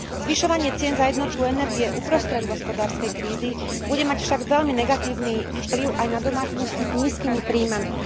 Zvyšovanie cien za jednotku energie uprostred hospodárskej krízy bude mať však veľmi negatívny vplyv aj na domácnosti s nízkymi príjmami.